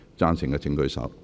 贊成的請舉手。